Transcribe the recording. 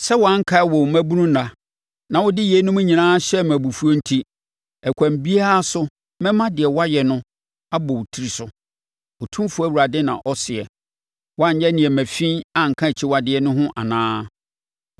“ ‘Sɛ woankae wo mmabunu nna, na wode yeinom nyinaa hyɛɛ me abufuo enti, ɛkwan biara so mɛma deɛ woayɛ no abɔ wo tiri so, Otumfoɔ Awurade na ɔseɛ. Woanyɛ nneɛma fi anka akyiwadeɛ no ho anaa?